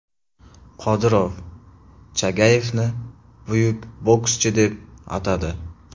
Qodirov Chagayevni buyuk bokschi deb atadi.